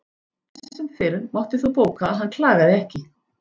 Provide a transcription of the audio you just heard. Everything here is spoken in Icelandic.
Enn sem fyrr mátti þó bóka að hann klagaði ekki.